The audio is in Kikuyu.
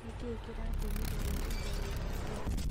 Nĩkĩĩ kĩrĩtũmire uge dwendete ciana?